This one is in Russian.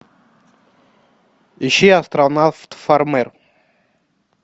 ищи астронавт фармер